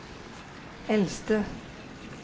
eldste